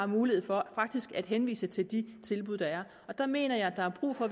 mulighed for faktisk at henvise til de tilbud der er der mener jeg at der er brug for